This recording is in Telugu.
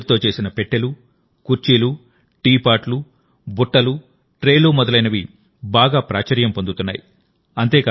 వెదురుతో చేసిన పెట్టెలు కుర్చీలు టీపాట్లు బుట్టలు ట్రేలు మొదలైనవి బాగా ప్రాచుర్యం పొందుతున్నాయి